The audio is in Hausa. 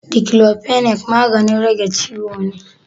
Diclofenac magannin rage ciwo ne.